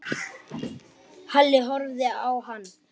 Halli horfði á hann.